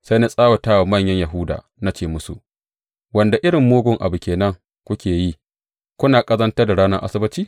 Sai na tsawata wa manyan Yahuda na ce musu, Wanda irin mugun abu ke nan kuke yi, kuna ƙazantar da ranar Asabbaci?